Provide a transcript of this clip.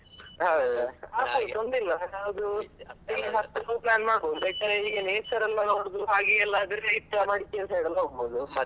ಹೌದು, ತೊಂದ್ರೆಲ್ಲಾ plan ಮಾಡ್ಬಹುದು ಬೇಕಾದ್ರೆ ಇಲ್ಲಿ nature ಎಲ್ಲಾ ನೋಡುವಡು ಹಾಗೆ ಎಲ್ಲಾ ಆದ್ರೆ ಈ ಸಲ ಮಡಿಕೇರಿ side ಗೆಲ್ಲ ಹೋಗ್ಬೋದು.